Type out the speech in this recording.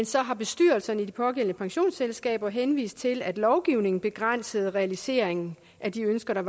så har bestyrelserne i de pågældende pensionsselskaber henvist til at lovgivningen begrænser realiseringen af de ønsker der